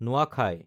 নোৱাখাই